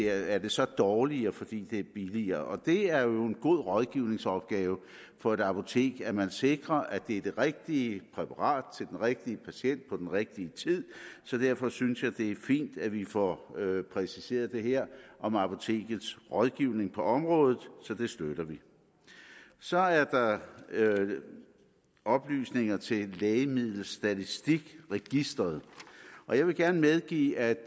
er det så dårligere fordi det er billigere det er jo en god rådgivningsopgave for et apotek at man sikrer at det er det rigtige præparat til den rigtige patient på den rigtige tid derfor synes jeg det er fint at vi får præciseret det her om apotekets rådgivning på området så det støtter vi så er der oplysninger til lægemiddelstatistikregisteret og jeg vil gerne medgive at